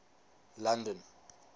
london